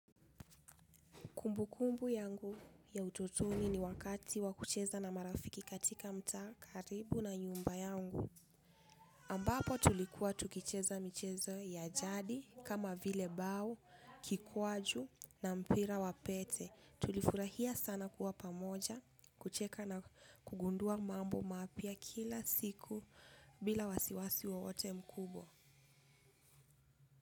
Kumbukumbu yangu ya utotuni ni wakati wa kucheza na marafiki katika mtaa karibu na nyumba yangu. Ambapo tulikuwa tukicheza micheza ya jadi, kama vile bao, kikwaju na mpira wa pete. Tulifurahia sana kuwa pamoja, kucheka na kugundua mambo mapya kila siku bila wasiwasi wowote mkubwa.